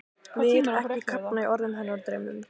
Vil ekki kafna í orðum hennar og draumum.